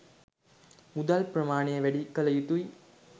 මුදල් ප්‍රමාණය වැඩිකළ යුතුයි